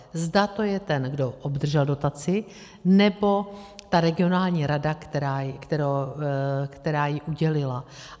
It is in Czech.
Zda to je ten, kdo obdržel dotaci, nebo ta regionální rada, která ji udělila.